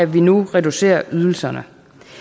vi nu reducerer ydelserne